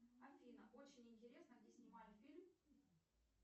афина очень интересно где снимали фильм